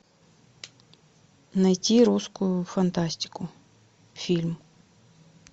найти русскую фантастику фильм